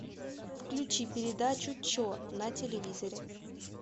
включи передачу че на телевизоре